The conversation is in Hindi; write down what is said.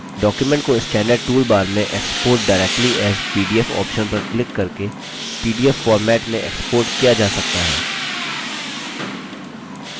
document को standard tool bar में export directly as pdf option पर क्लिक करके pdf format में export किया जा सकता है